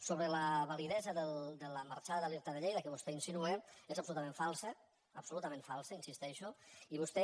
sobre la validesa de la marxada de l’irta de lleida que vostè insinua és absolutament falsa absolutament falsa hi insisteixo i vostè